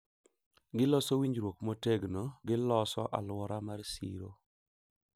Giloso winjruok motegno, giloso alwora mar siro,